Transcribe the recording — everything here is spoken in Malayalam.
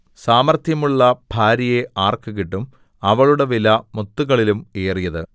സാമർത്ഥ്യമുള്ള ഭാര്യയെ ആർക്ക് കിട്ടും അവളുടെ വില മുത്തുകളിലും ഏറിയത്